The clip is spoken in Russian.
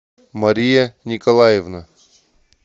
мария николаевна